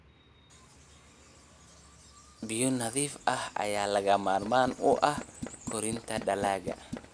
Biyo nadiif ah ayaa lagama maarmaan u ah koritaanka dalagga.